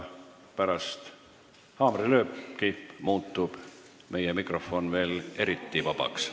Pärast haamrilööki muutub meie mikrofon veel eriti vabaks.